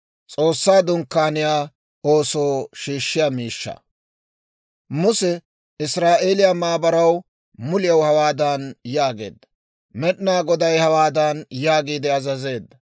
Muse Israa'eeliyaa maabaraw muliyaw hawaadan yaageedda; «Med'inaa Goday hawaadan yaagiide azazeedda: